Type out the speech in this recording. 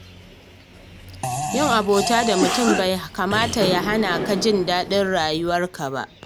Yin abota da mutum bai kamata ya hana ka jin daɗin rayuwarka ba.